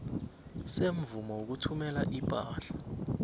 semvumo yokuthumela ipahla